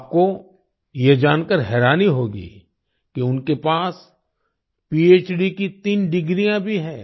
आपको ये जानकर हैरानी होगी कि उनके पास पहड़ की तीन डिग्रियां भी हैं